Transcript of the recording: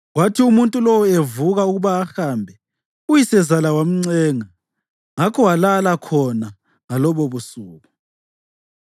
Kwathi umuntu lowo evuka ukuba ahambe, uyisezala wamncenga, ngakho walala khona ngalobobusuku.